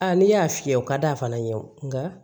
A n'i y'a fiyɛ o ka d' a fana ye nka